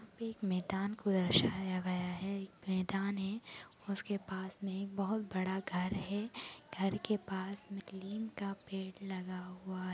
एक मैदान को दर्शाया गया है| एक मैदान है उसके पास में एक बहोत बड़ा घर है घर के पास में एक नीम का पेड़ लगा हुआ--